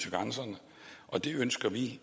til grænserne og det ønsker vi